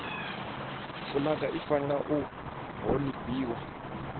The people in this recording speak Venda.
fulaga i fanela u honifhiwa